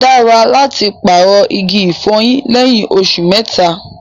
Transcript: O dára láti paarọ̀ igi ifọ̀yín lẹyìn òṣù mẹ́ta.